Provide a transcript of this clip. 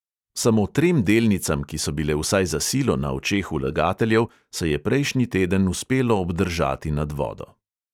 Samo trem delnicam, ki so bile vsaj za silo na očeh vlagateljev, se je prejšnji teden uspelo obdržati nad vodo.